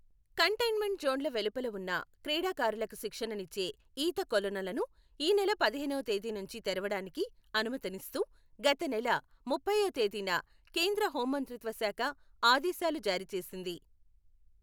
Containment జోన్ల వెలుపల ఉన్న, క్రీడాకారులకు శిక్షణనిచ్చే ఈతకొలనులను ఈనెల పదిహేనవ తేదీ నుంచి తెరవడానికి అనుమతినిస్తూ గతనెల ముప్పైవ తేదీన కేంద్ర హోంమంత్రిత్వ శాఖ ఆదేశాలు జారీ చేసింది.